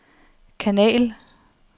kanal